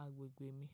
agbègbè mi.